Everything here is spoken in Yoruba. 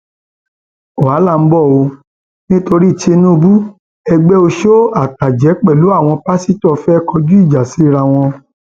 wàhálà ń bọ ọ nítorí tìǹbù ẹgbẹ ọṣọ àtàjẹ pẹlú àwọn pásítọ fẹẹ kọjú ìjà síra wọn